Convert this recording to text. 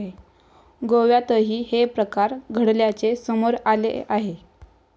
गोव्यातही हे प्रकार घडल्याचे समोर आले आहे.